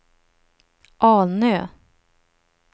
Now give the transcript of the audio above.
Alnö